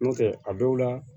N'o tɛ a dɔw la